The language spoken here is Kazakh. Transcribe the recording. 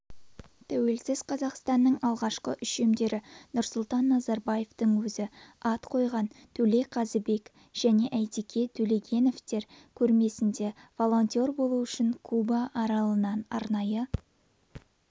тәуелсіз қазақстанның алғашқы үшемдері нұрсұлтан назарбаевтың өзі ат қойған төле қазыбек және әйтеке тілегеновтер көрмесінде волонтер болу үшін куба аралынан арнайы